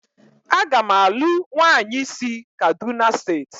Agam alu nwanyi si kaduna state